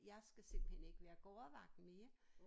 Jeg skal simpelthen ikke være gårdvagt mere